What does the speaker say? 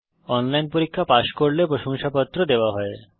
যারা অনলাইন পরীক্ষা পাস করে তাদের প্রশংসাপত্র দেওয়া হয়